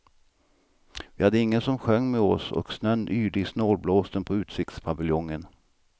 Vi hade ingen som sjöng med oss och snön yrde i snålblåsten på utsiktspaviljongen.